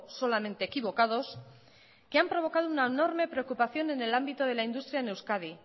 solamente equivocados que han provocado una enorme preocupación en el ámbito de la industria en euskadi